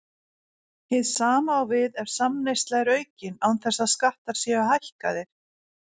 Hið sama á við ef samneysla er aukin án þess að skattar séu hækkaðir.